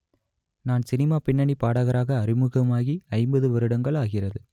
நான் சினிமா பின்னணி பாடகராக அறிமுகமாகி ஐம்பது வருடங்கள் ஆகிறது